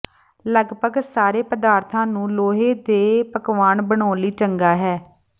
ਲਗਭਗ ਸਾਰੇ ਪਦਾਰਥਾਂ ਨੂੰ ਲੋਹੇ ਦੇ ਪਕਵਾਨ ਬਣਾਉਣ ਲਈ ਚੰਗਾ ਹੈ